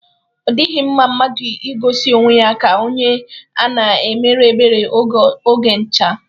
O dighi mma mmadu igosi onwe ya ka onye a na-emere ebere oge ncha.